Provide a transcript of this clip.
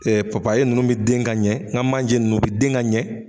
Ee papaye nunnu bɛ den ka ɲɛ, n ka manje nunnu bɛ den ka ɲɛ.